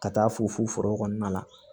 Ka taa fo foro kɔnɔna la